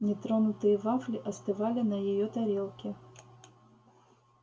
нетронутые вафли остывали на её тарелке